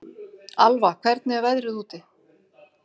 Alva, hvernig er veðrið úti?